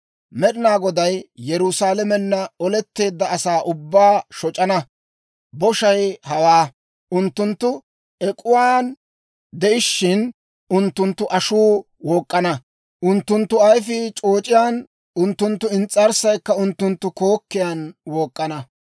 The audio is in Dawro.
Med'inaa Goday Yerusaalamenna oletteedda asaa ubbaa shoc'ana boshay hawaa: unttunttu ek'uwaan de'ishshin, unttunttu ashuu wook'k'ana; unttunttu ayfii c'ooc'iyaan, unttunttu ins's'arssaykka unttunttu kookkiyaan wook'k'ana.